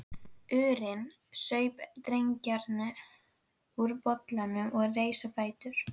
urinn, saup dreggjarnar úr bollanum og reis á fætur.